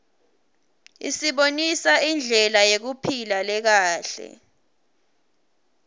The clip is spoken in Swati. isibonisa indlela yekuphila lekahle